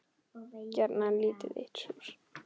Gjarnan lítið eitt súr.